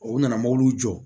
O nana mobili jɔ